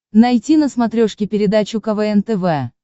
найти на смотрешке передачу квн тв